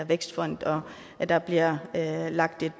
vækstfonden og at der bliver lagt et